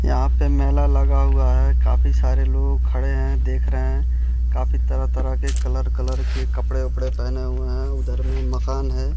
यहाँ पे मेला लगा हुआ है काफी सारे लोग खड़े हैं देख रहे हैं काफी तरह-तरह के कलर कलर के कपड़े-उपड़े पहने हुए है उधर में मकान है।